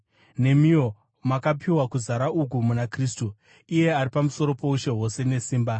nemiwo makapiwa kuzara uku muna Kristu, iye ari pamusoro poushe hwose nesimba.